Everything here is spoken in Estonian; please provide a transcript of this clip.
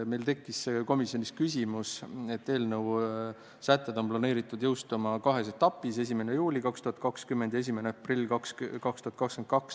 Meil tekkis komisjonis küsimus, et eelnõu sätted on planeeritud jõustuma kahes etapis: 1. juulil 2020 ja 1. aprillil 2022.